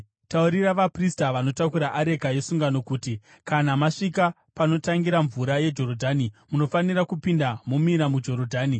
Taurira vaprista vanotakura areka yesungano uti: ‘Kana masvika panotangira mvura yeJorodhani, munofanira kupinda momira muJorodhani.’ ”